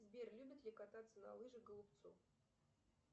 сбер любит ли кататься на лыжах голубцов